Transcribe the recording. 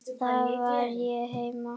Þar var ég heima.